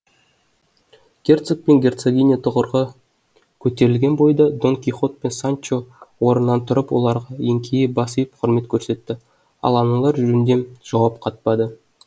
герцог пен герцогиня тұғырға көтерілген бойда дон кихот пен санчо орнынан тұрып оларға еңкейе бас иіп құрмет көрсетті ал аналар жөндем жауап қатпады